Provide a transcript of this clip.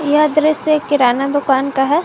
यह दृश्य किराना दुकान का है।